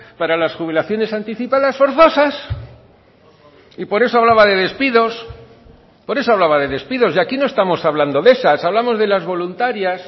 para las jubilaciones anticipadas forzosas y por eso hablaba de despidos por eso hablaba de despidos y aquí no estamos hablando de esas hablamos de las voluntarias